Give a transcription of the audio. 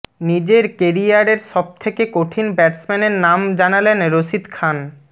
নিজের কেরিয়ারের সবথেকে কঠিন ব্যাটসম্য়ানের নাম জানালেন রশিদ খান